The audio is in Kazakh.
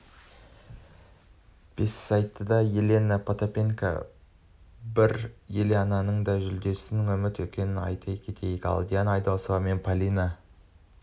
бессайыста елена потапенко бар еленаның да жүлдеден үмітті екенін айт кетейік ал диана айдосова мен полина